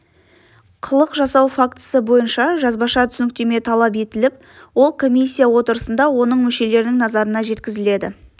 қылық жасау фактісі бойынша жазбаша түсініктеме талап етіліп ол комиссия отырысында оның мүшелерінің назарына жеткізіледі